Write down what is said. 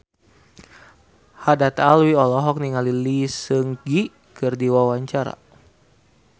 Haddad Alwi olohok ningali Lee Seung Gi keur diwawancara